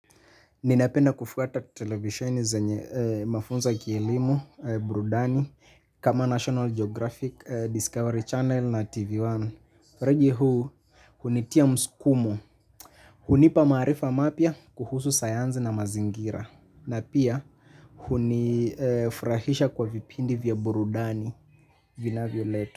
Ninapenda kufuata televisheni zenye mafunzo ya kielimu. Burudani Kama National Geographic Discovery Channel na TV One Regi huu hunitia msukumo. Hunipa maarifa mapya kuhusu sayansi na mazingira. Na pia hunifurahisha kwa vipindi vya burudani vinavyoletwa.